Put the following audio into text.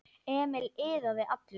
Emil iðaði allur.